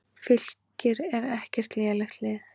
Fylkir er ekkert lélegt lið.